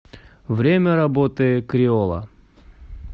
время работы криола